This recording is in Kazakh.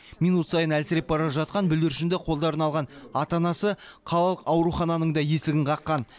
минут сайын әлсіреп бара жатқан бүлдіршінді қолдарына алған ата анасы қалалық аурухананың да есігін қаққан